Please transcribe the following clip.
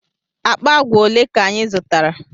Akpa agwa ole ka anyị zụtara?